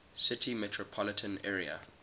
city metropolitan area